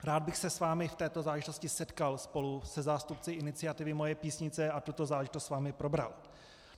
Rád bych se s vámi v této záležitosti setkal spolu se zástupci iniciativy Moje Písnice a tuto záležitost s vámi probral.